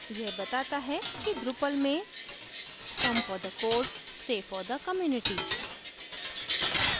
यह बताता है कि drupal में come for the code stay for the community code के लिए आयें और समुदाय में बने रहें